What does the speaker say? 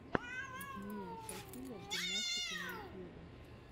бмиасофия гимнастика на ютьюбе